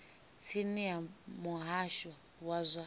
tsini ya muhasho wa zwa